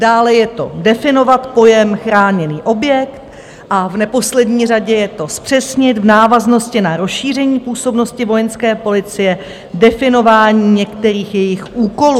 Dále je to definovat pojem chráněný objekt a v neposlední řadě je to zpřesnit v návaznosti na rozšíření působnosti Vojenské policie definování některých jejích úkolů.